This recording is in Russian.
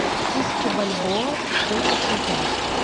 тысяча бальбоа сколько в шекелях